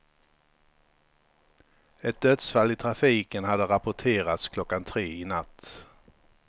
Ett dödsfall i trafiken hade rapporterats klockan tre i natt.